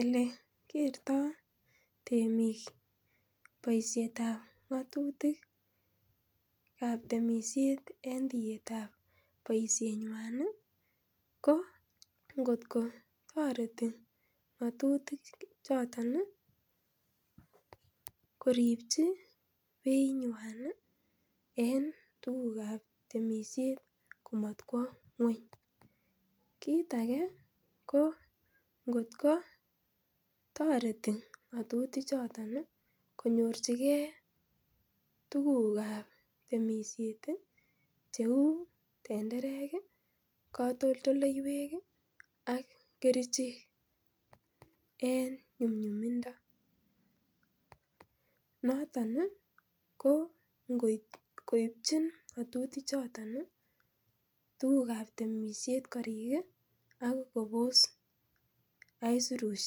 Elekerta temik boisietab ng'atutikab temisiet en tietaab temisiet nyuan ih ingot ko taterito ng'atutik choton ih koribchi beit nyuan ih en tuguk kab temisiet komat kwo ngueny. kit age ko ingot kwa toreti ng'atutiet konyor chike tuguk kab temisiet ih cheuu tenderek ih , beek ih ak kerichek ih en nyumnyumindo noton ko ingoib koibchin ng'atutik choton ih tuguk kab temisiet korik ih akobos aisurut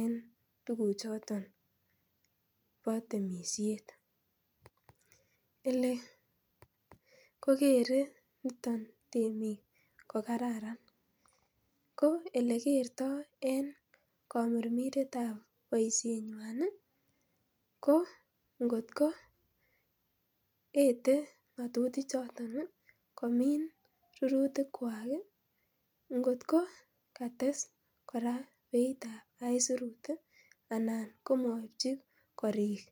en tuguk choton bo temisiet. Ko elekerto en kamirmiretab boisiet nyuan ih ko ingot ko ete ng'atutik choton komin rurutik choton ih. kora beitab aisurut ih anan komaibchi korik